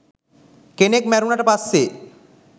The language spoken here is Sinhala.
කෙනෙක් මැරුණට පස්සේ